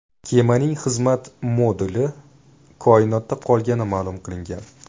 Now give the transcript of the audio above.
Kemaning xizmat moduli koinotda qolgani ma’lum qilingan.